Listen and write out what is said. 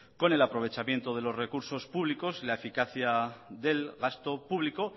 con el aprovechamiento de los recursos públicos y la eficacia del gasto público